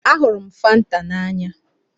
Ahụrụ m Fanta n'anya.